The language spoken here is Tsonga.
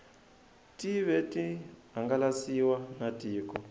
tive ti hangalasiwa na tiko